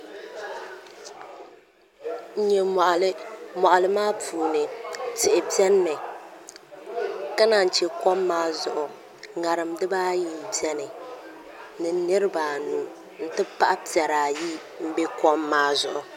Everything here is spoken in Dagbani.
N nyɛ moɣali moɣali maa puuni tihi biɛni mi ka naan chɛ kom maa zuɣu ŋarim dibaayi n biɛni ni niraba anu n ti pahi piɛri ayi n bɛ kom maa zuɣu